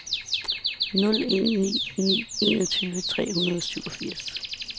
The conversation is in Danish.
nul en ni ni enogtyve tre hundrede og syvogfirs